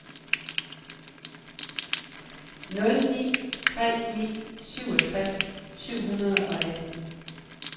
nul ni tre ni syvogtres syv hundrede og atten